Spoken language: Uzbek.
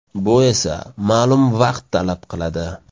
Bu esa ma’lum vaqt talab qiladi.